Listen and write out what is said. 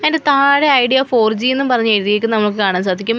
അതിൻ്റ താഴെ Idea four G ന്നും പറഞ്ഞ് എഴുതിയേക്കുന്നത് നമുക്ക് കാണാൻ സാധിക്കും.